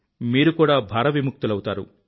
మీరు కూడా భారవిముక్తులౌతారు